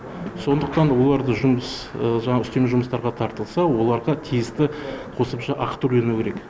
сондықтан оларды жұмыс жаңағы үстеме жұмыстарға тартылса оларға тиісті қосымша ақы төленуі керек